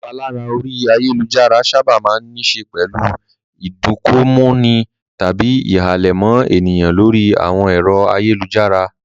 Ìpalára orí ayálujára sábà máa ń níṣe pẹ̀lú ìdunkokomọ́ni tàbí ìhàlẹ̀ mọ́ ènìyàn lórí àwọn ẹ̀rọ ayélujára.